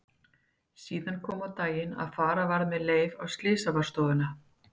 Síðar kom á daginn að fara varð með Leif á Slysavarðstofuna.